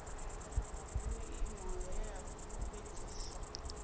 ha vhuimo he ha fhulufhedziswa